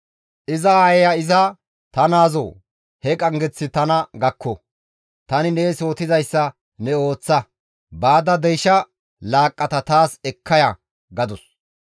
Iza aayeya iza, «Ta naazoo! He qanggeththay tana gakko. Tani nees yootizayssa ne ooththa; baada deysha laaqqata taas ekka ya» gadus.